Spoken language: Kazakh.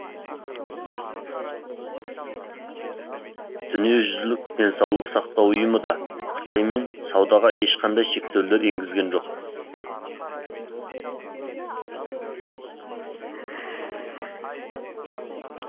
дүниежүзілік денсаулық сақтау ұйымы да қытаймен саудаға ешқандай шектеулер енгізген жоқ